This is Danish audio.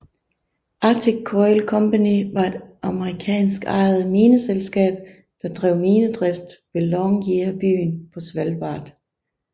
Arctic Coal Company var et amerikanskejet mineselskab der drev minedrift ved Longyearbyen på Svalbard